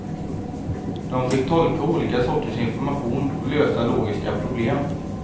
De fick tolka olika sorters information och lösa logiska problem.